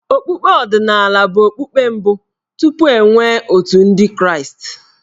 Okpukpe omenala bụ okpukpe mbụ tupu e nwee Otù Ndị Kraịstị.